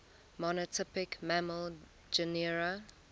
monotypic mammal genera